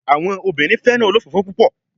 Awọn obinrin fẹran olofofo pupọ